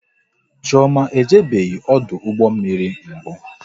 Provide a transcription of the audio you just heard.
Chioma ejebeghi ọdụ ụgbọ mmiri mbụ